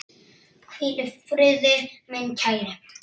Hvíl í friði, minn kæri.